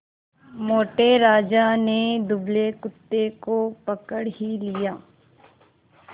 मोटे राजा ने दुबले कुत्ते को पकड़ ही लिया